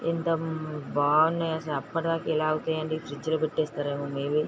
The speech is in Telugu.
ఎంత బాగున్నాయో చెప్పడానికి ఎలా అవుతాయండి. పెట్టేస్తారేమో మయ్బె --